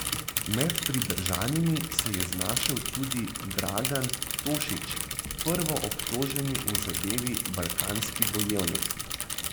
Med pridržanimi se je znašel tudi Dragan Tošić, prvoobtoženi v zadevi Balkanski bojevnik.